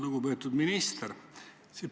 Lugupeetud minister!